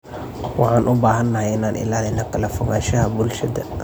Waxaan u baahanahay inaan ilaalino kala fogaanshaha bulshada.